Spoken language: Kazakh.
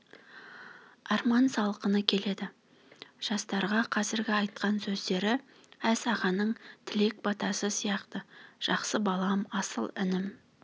арман салқыны келеді жастарға қазіргі айтқан сөздері әз ағаның тілек батасы сияқты жақсы балам асыл інім